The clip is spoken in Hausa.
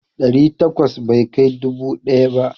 Ɗari takwas bai kai dubu ɗaya ba.